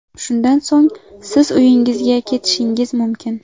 Shundan so‘ng siz uyingizga ketishingiz mumkin.